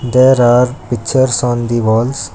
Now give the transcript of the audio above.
There are pictures on the walls.